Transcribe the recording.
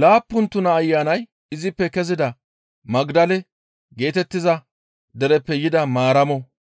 laappun tuna ayanay izippe kezida Magdale geetettiza dereppe yida Maaramo,